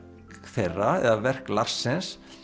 þeirra eða verk Larsens